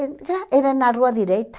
Era era na rua direita.